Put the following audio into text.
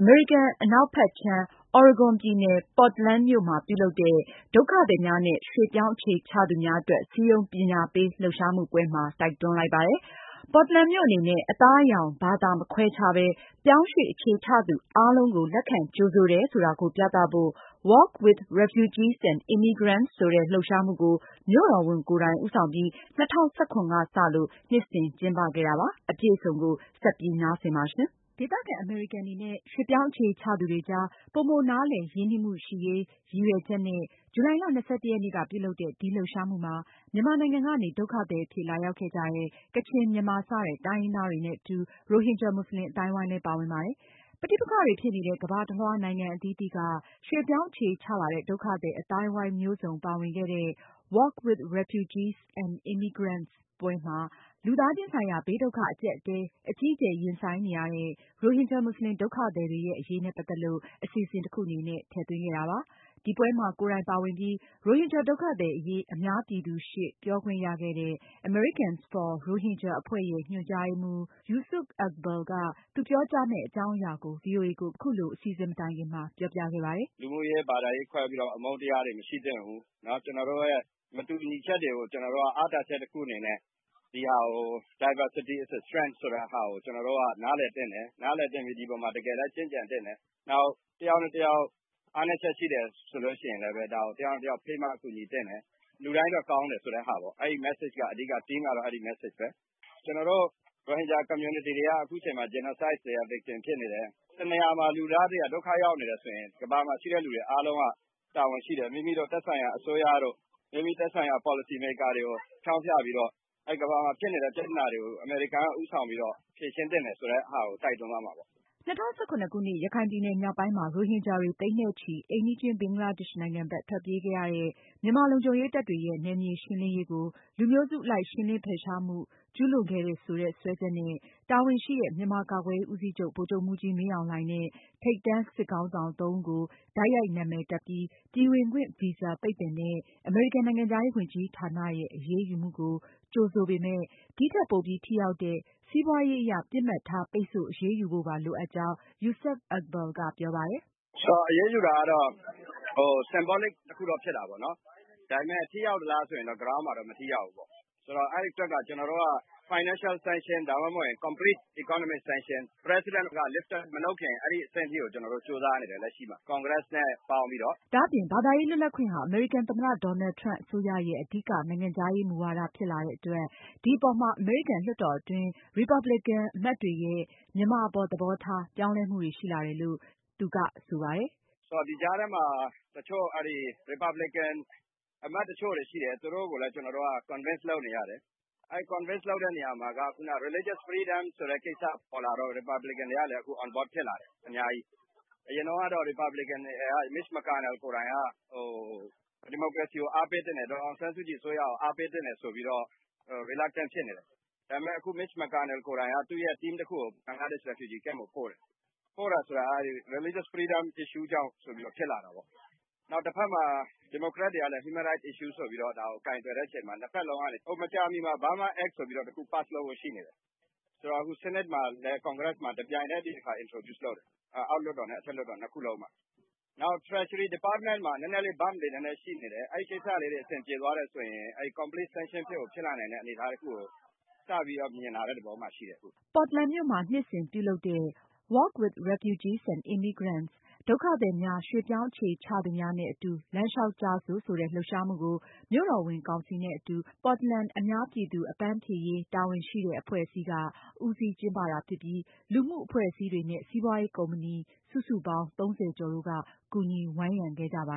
အမေရိကန် အနောက်ခြမ်း Oregon ပြည်နယ် Portland မြို့မှာ ပြုလုပ်တဲ့ ဒုက္ခသည်များနဲ့ ရွှေ့ပြောင်းအခြေချသူများ အတွက် စည်းရုံးပညာပေးလှုပ်ရှားမှုပွဲမှာ တိုက်တွန်းခဲ့ပါတယ်။ Portland မြို့အနေနဲ့ အသားအရောင်၊ ဘာသာ မခွဲခြားပဲ ပြောင်းရွှေ့အခြေချသူအားလုံးကို လက်ခံကြိုဆိုတယ် ဆိုတာကိုပြသဖို့ WALK with Refugees and Immigrants ဆိုတဲ့ လှုပ်ရှားမှုကို မြို့တော်ဝန်ကိုယ်တိုင် ဦးဆောင်ပြီး ၂၀၁၇ ခုနှစ်က စလို့ နှစ်စဉ် ကျင်းပခဲ့တာဖြစ်ပါတယ်။ မအင်ကြင်းနိုင်က အသေးစိတ်တင်ပြမှာပါ။ ဒေသခံ အမေရိကန်တွေနဲ့ ရွှေ့ပြောင်းအခြေချသူတွေကြား ပိုမိုနားလည် ရင်းနှီးမှု ရရှိရေး ရည်ရွယ်ချက်နဲ့ ဇူလိုင်လ ၂၁ ရက်နေ့က ပြုလုပ်တဲ့ ဒီလှုပ်ရှားမှုမှာ မြန်မာနိုင်ငံကနေ ဒုက္ခသည်အဖြစ် လာရောက်ခဲ့ကြတဲ့ ကချင်၊ မြန်မာ စတဲ့ တိုင်းရင်းသားတွေနဲ့အတူ ရိုဟင်ဂျာ မွတ်စလင် အသိုင်းအဝိုင်းလည်း ပါဝင်ပါတယ်။ ပဋိပက္ခတွေဖြစ်နေတဲ့ နိုင်ငံအသီးသီးက ရွှေ့ပြောင်းအခြေချလာတဲ့ ဒုက္ခသည် အသိုင်းအဝိုင်းမျိုးစုံ ပါဝင်ခဲ့တဲ့ WALK with Refugees and Immigrants ပွဲမှာ လူသားချင်းဆိုင်ရာ ဘေးဒုက္ခအကျပ်အတည်း အကြီးအကျယ် ရင်ဆိုင်နေရတဲ့ ရိုဟင်ဂျာ မွတ်စလင် ဒုက္ခသည်တွေရဲ့ အရေးနဲ့ ပတ်သက်လို့ အစီအစဉ်တခုအနေနဲ့ ထည့်သွင်းခဲ့တာပါ။ အဲဒီပွဲမှာ ကိုယ်တိုင်ပါဝင်ပြီး ရိုဟင်ဂျာဒုက္ခသည်အရေး အများပြည်သူရှေ့ ပြောခွင့်ရခဲ့တဲ့ Americans for Rohingya အဖွဲ့ရဲ့ ညွန်ကြားရေးမှူး Yusuf Iqbal က သူပြောကြားမယ့် အကြောင်းအရာကို ဗွီအိုအေကို အခုလို အစီအစဉ် မတိုင်ခင်မှာ ပြောပြခဲ့ပါတယ်။ “လူမှုရေး၊ ဘာသာရေး အမုန်းတရားတွေ မရှိသင့်ဘူး။ ကျနော်တို့ရဲ့ မတူညီချက်တွေကို ကျနော်တို့ အားသာချက်တခုအနေနဲ့ Diversity is the strength ဆိုတဲ့ဟာနဲ့ ကျနော်တို့နားလည်သင့်တယ်။ နောက် ဒီအပေါ်မှာ ကျင့်ကြံသင့်တယ်။ နောက်တယောက်နဲ့ တယောက် အားနည်းချက် ရှိတယ်ဆိုရင်လည်း ဒါကို တယောက်နဲ့ တယောက် ဖေးမကူညီသင့်တယ်။ လူတိုင်းအတွက်ကောင်းတယ် ဆိုတဲ့ Message က အဓိက ဖြစ်ပါတယ်။ ကျနော်တို့ ရိုဟင်ဂျာ Community က အခုအချိန်မှာ Genocide victim ဖြစ်နေတယ်။ တနေရာမှာ လူသားတွေက ဒုက္ခရောက်နေတယ်ဆိုရင် ကမ္ဘာမှာရှိတဲ့လူတွေအားလုံးက တာဝန်ရှိတယ်။ မိမိတို့ သက်ဆိုင်ရာ အစိုးရတို့ သက်ဆိုင်ရာ Policy makers တွေကို ဖျောင်းဖျပြီးတော့ ကမ္ဘာမှာဖြစ်နေတဲ့ ပြဿနာတွေကို အမေရိကန်က ဦးဆောင်ပြီးတော့ ဖြေရှင်းသင့်တယ်ဆိုတာကို တိုက်တွန်းသွားမှာပါ။” ၂၀၁၇ခုနှစ် ရခိုင်ပြည်နယ် မြောက်ပိုင်းမှာ ရိုဟင်ဂျာတွေ သိန်းနဲ့ချီပြီး အိမ်နီးချင်း ဘင်္ဂလားဒေ့ရှ် နိုင်ငံဘက် ထွက်ပြေးခဲ့ရတဲ့ မြန်မာလုံခြုံရေးတပ်တွေရဲ့ နယ်မြေရှင်းလင်းရေးကို လူမျိုးစုအလိုက် ရှင်းလင်းဖယ်ရှားမှု ကျူးလွန်ခဲ့တယ်ဆိုတဲ့ စွဲချက်နဲ့ တာဝန်ရှိတဲ့ မြန်မာကာကွယ်ရေး ဦးစီချုပ် ဗိုလ်ချုပ်မှူးကြီး မင်းအောင်လှိုင်နဲ့ ထိပ်တန်းစစ်ခေါင်းဆောင် သုံးဦး ကို တိုက်ရိုက်နာမည်တပ်ပြီး ပြည်ဝင်ခွင့်ဗီဇာ ပိတ်ပင်တဲ့ အမေရိကန်နိုင်ငံခြားရေးဝန်ကြီးဌာနရဲ့ အရေးယူမှုကို ကြိုဆိုပေမဲ့ ဒီထက် ပိုပြီး ထိရောက်တဲ့ စီးပွားရေးအရ ပစ်မှတ်ထားပိတ်ဆို့ အရေးယူဖို့ လိုကြောင်း Yusuf Iqbal ကပြောပါတယ်။ “အရေးယူတာကတော့ Symbolic တခုတော့ ဖြစ်တာပေါ့နော်။ ဒါပေမယ့် ထိရောက်သလားဆိုတော့ ဘယ်လောက်မှာတော့ မထိရောက်ဘူးပေါ့နော်။ ဆိုတော့ အဲဒီအတွက်က ကျနော်တို့က Financial sanction ဒါမှမဟုတ်ရင် complete economic sanction တွေ President က lift up မလုပ်ခင် အဲဒီအထိကို ကျနော်တို့ ကြိုးစားနေတယ် လက်ရှိမှာ congress နဲ့ ပေါင်းပြီးတော့။” ဒါ့အပြင် ဘာသာရေးလွတ်လပ်ခွင့်ဟာ အမေရိကန်သမ္မတ Donald Trump အစိုးရရဲ့ အဓိက နိုင်ငံခြားရေးမူဝါဒ ဖြစ်လာတဲ့အတွက် ဒီအပေါ်မှာ အမေရိကန်လွှတ်တော်အတွင်း ရီပါပလင်ကန် အမတ်တွေရဲ့ မြန်မာအပေါ် သဘောထား ပြောင်းလဲမှုတွေရှိလာတယ်လို့ Yusuf Iqbal ကဆိုပါတယ်။ “ဒီကြားထဲမှာ တချို့ အဲဒီ Republican အမတ်တချို့ရှိတယ် သူတို့ကိုလည်း ကျနော်တို့က Convince လုပ်နေရတယ်။ အဲဒီ Convince လုပ်တဲ့နေရာမှာက ခုနက Religious freedom ဆိုတဲ့ ကိစ္စပေါ်လာတော့ Republican တွေကလည်း convert ဖြစ်လာတယ် အများကြီး။ အရင်တုန်းကတော့ Republican တွေထဲကMitch Mcconnell ကိုယ်တိုင်က ဒီမိုကရေစီကို အားပေးသင့်တယ်၊ ဒေါ်အောင်ဆန်းစုကြည် အစိုးရကို အားပေးသင့်တယ်ဆိုပြီးတော့ reluctant ဖြစ်နေတယ်။ ဒါပေမယ့် အခု Mitch Mcconnell ကိုယ်တိုင်က သူ့ရဲ့ Team တခုကို ဘင်္ဂလားဒေ့ရှ် refugee camp အထိပို့တယ်။ ပို့တယ်ဆိုတာက Religious freedom issue ကြောင့်ဆိုပြီး ဒီလိုဖြစ်လာတာပေါ့။ တဘက်မှာ ဒီမိုကရက်တွေကလည်း Human Rights issue ဆိုပြီးတော့ ဒါကို ကိုယ်တွယ်တဲ့အချိန်မှာ မကြာမီမှာ Burma Act တခုကို pass လုပ်ဖို့ရှိတယ်။ အခုဆီးနိတ်နဲ့ ကွန်ဂရက်မှာ တပြိုင်နက် ဒါကို introduce လုပ်နေတယ် အောက်လွှတ်တော်နဲ့ အထက်လွှတ်တော် ၂ ခုလုံးမှာ။ နောက်တခုက Treasury department မှာ နည်းနည်းလေး bump တွေရှိနေတယ်။ အဲဒီကိစ္စတွေ အဆင်ပြေသွားတယ်ဆိုရင် complete sanction ဖြစ်လာတဲ့အနေအထားတွေကို စပြီးတော့ မြင်လာတဲ့ သဘောမှာရှိတယ်။” Portland မြို့မှာ နှစ်စဉ်ပြုလုပ် WALK with Refugees and Immigrants "ဒုက္ခသည်များ၊ ရွှေ့ပြောင်းအခြေချသူများ နဲ့အတူ လမ်းလျှောက်ကြစို့" ဆိုတဲ့ လှုပ်ရှားမှုကို မြို့တော်ဝန်ကောင်စီနဲ့အတူ Portland အများပြည်သူ အပန်းဖြေရေး တာဝန်ရှိတဲ့ အဖွဲ့အစည်းက ဦးစီးကျင်းပတာဖြစ်ပြီး လူမှုအဖွဲ့အစည်းတွေနဲ့ စီးပွားရေး ကုမ္ပဏီ စုစုပေါင်း ၃၀ ကျော်တို့က ကူညီဝန်းရံခဲ့ကြပါ